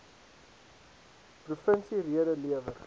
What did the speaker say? provinsie rede lewer